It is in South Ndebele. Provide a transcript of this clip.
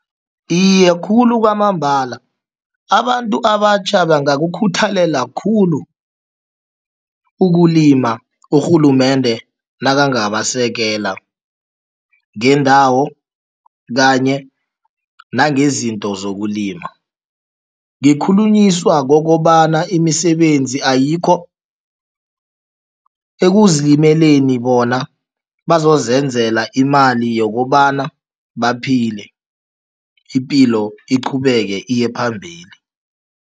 Iye, khulu kwamambala. Abantu abatjha bangakukhuthalela khulu ukulima, urhulumende nakangabasekela ngeendawo kanye nangezinto zokulima. Ngikhulunyiswa kokobana imisebenzi ayikho, ekuzilimeleni bona bazozenzela imali yokobana baphile, ipilo iqhubeke iye phambili.